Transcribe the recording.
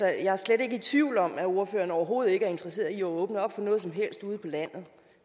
jeg er slet ikke i tvivl om at ordføreren overhovedet ikke er interesseret i at åbne op for noget som helst ude på landet